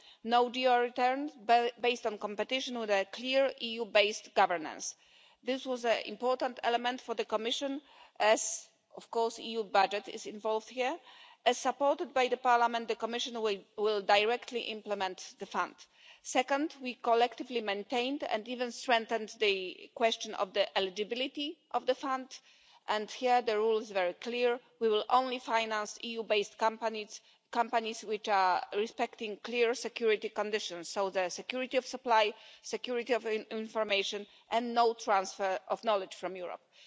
no based on competition with a clear EU-based governance. This was an important element for the Commission as, of course, the EU budget is involved here. As supported by Parliament, the Commission will directly implement the fund. Second, we collectively maintained and even strengthened the question of the eligibility of the fund, and here the rule is very clear we will only finance EU based companies, companies which respect clear security conditions, so the security of supply, security of information and no transfer of knowledge from Europe.